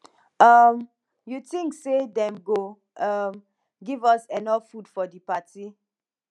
um you tink say dem go um give us enough food for di party